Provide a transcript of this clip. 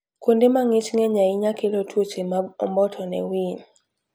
Kuonde ma ng'ich ng'eny ahinya kelo tuoche mag omboto ne winy.